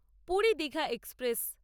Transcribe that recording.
Puri Digha express